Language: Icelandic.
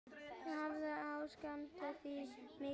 Hvað ég sakna þín mikið.